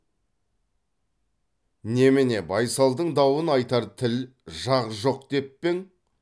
немене байсалдың дауын айтар тіл жақ жоқ деп пе ең